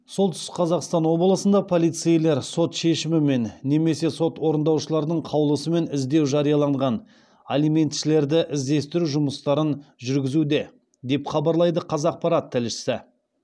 солтүстік қазақстан облысында полицейлер сот шешімімен немесе сот орындаушылардың қаулысымен іздеу жарияланған алиментшілерді іздестіру жұмыстарын жүргізуде деп хабарлайды қазақпарат тілшісі